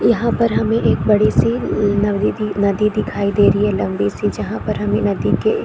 यहाँ पर हमें एक बड़ी सी नवी नदी दिखाई दे रही है लम्बी सी जहाँ पर हमें नदी के --